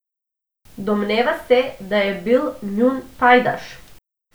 Domneva se, da je bil njun pajdaš.